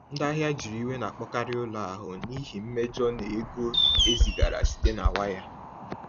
Ndị ahịa juru iwe na-akpọkarị ụlọ akụ n’ihi mmejọ n’ego e zigara site na waya.